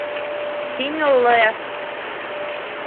синьлэ